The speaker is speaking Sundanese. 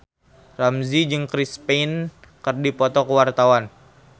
Ramzy jeung Chris Pane keur dipoto ku wartawan